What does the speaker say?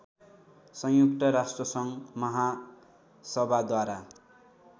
संयुक्त राष्ट्रसङ्घ महासभाद्वारा